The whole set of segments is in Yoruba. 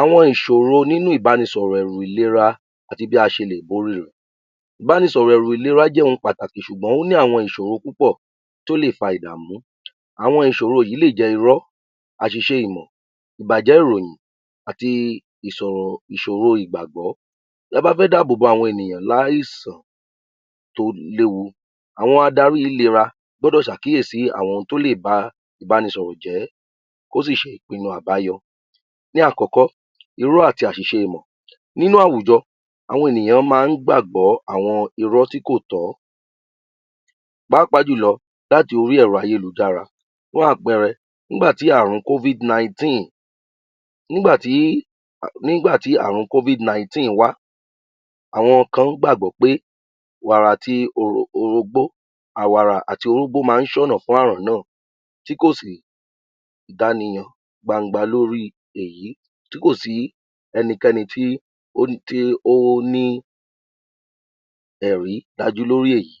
Àwọn ìṣòro nínú ìbánisọ̀rọ̀ ẹ̀rù ìlera àti bí a se lè borí rẹ̀, ìbánisọ̀rọ̀ ẹ̀rù ìlera jẹ́ ohun pàtàkì ṣùgbọ́n ó ní àwọn ìṣọ̀rọ púpọ̀ tó lè fa ìdàmú, àwọn ìṣòro yí lè jẹ́ irọ́, àṣiṣe ìmọ̀, ìbàjẹ́ ìròyìn àti ìṣòro ìgbàgbọ́. Ta bá fẹ́ dáàbò bò àwọn ènìyàn lówó àìsàn tó léwu, àwọn adarí ìlera gbọ́dọ̀ ṣàkíyèsí àwọn tó lè ba ìbánisọ̀rọ̀ jẹ́, kó sì ṣe ìpínu ònà àbáyọ. Ní àkọ́kọ́, irọ́ àti àṣìṣé ìmọ̀, nínú àwùjọ, àwọn ènìyàn máa ń gbàgbọ́ àwọn irọ́ tí kò tọ́, pàápàá jùlọ láti orí ẹ̀rọ ayélujára, fún àpẹẹrẹ, nígbàtí àrùn (Covid-19) wá àwọn kan gbàgbọ́ pé wàrà àti òrógbó máa ń ṣónà fún àrùn náà tí kò sí ìdániyàn gbangba lóri èyí, tí kò sí ẹnikẹ́ni tí ó ní ẹ̀rí dájú lórí èyí.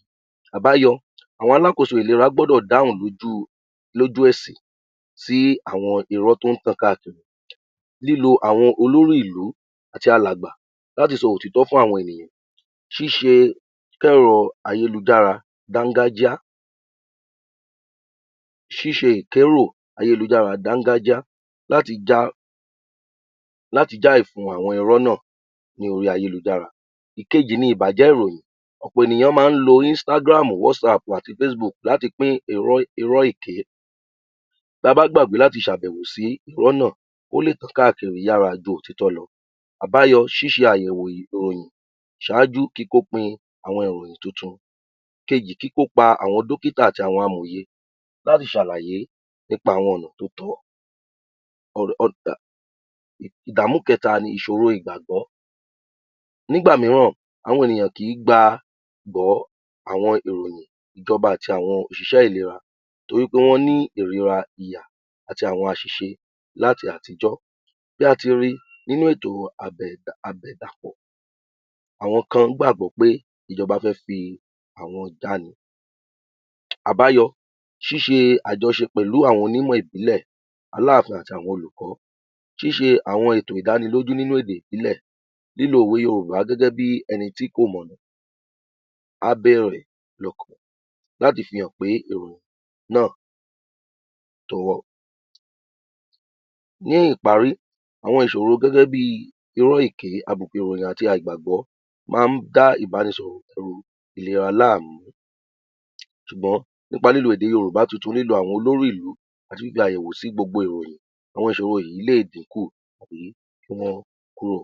Àbáyọ, àwọn alákóso ìlera gbọ́dọ̀ dáhùn lójú ẹ̀sì sí àwọn irọ́ tó ń tàn káàkiri. Lílo àwọn olórí ìlú àti àwọn alàgbà láti sọ òtítọ́ fún àwọn ènìyàn, ṣíṣẹ ìkẹ́rọ̀ ayélujára dángájíá, ṣíṣe ìkérọ̀ ayélujára dángájíá láti já ìfun àwọn irọ́ náà lórí ayélujára. Ìkejì ni ìbàjẹ́ ìròyìn, ọ̀pọ̀ ènìyàn máa ń lo (Instagram, Whatsapp àti Facebook) láti pín irọ́ èké, ta bá gbàgbé láti ṣàbẹ̀wò sí iró nà, ó lè tàn káàkiri yára ju òtítọ́ lọ. Àbáyọ, ṣíṣe àyẹ̀wò ìròyìn ṣaájú kíkópin àwọn ìròyìn tuntun, ìkejì, kíkópa àwọn dókítà àti àwọn amòye láti ṣàlàyé nípa àwọn ọ̀nà tó tọ́. Ìdàmú kẹta ni ìṣòro ìgbàgbọ́, nígbà míràn, àwọn ènìyàn kì í gbàgbọ́ àwọn ìròyìn ìjọba àti òṣìṣẹ ìlera torí pé wọ́n ní ìrira ìyà àti àwọn àṣìṣe láti àtijọ́ bí a ti ri nínú ètò àbẹ̀dàpọ̀, àwọn kan gab̀gbọ́ pé ìjọba fẹ́ fi àwọn jalẹ̀ ni. Àbáyọ, ṣíṣe àjọṣe pẹ̀lú àwọn onímọ̀ ìpínlẹ̀, aláàfin àti àwọn olùkọ́, ṣíṣe àwọn ètò ìdánilójú nínú ètò ìpínlẹ̀, lílo òwe Yorùbá gẹ́gẹ́ bí ẹni tí kò mọ̀nà á bèrè láti fi hàn pé ìròyìn náà. Ní ìparí, àwọn ìṣoro gẹ́gẹ́ bí irọ́, èké, àbùkùn ìròyìn àti àìgbàgbọ́ máa ń dá ìbanisọ̀rọ̀ ẹ̀rù ìlera láàmú ṣùgbọ́n nípa lilo èdè Yorùbá tuntun, lílo àwọn olórí ìlú àti ṣíṣe àyèwo sí gbogbo ìròyìn, àwọn ìṣọ̀ro yì í lè dínkù àbí kí wọ́n kúrò.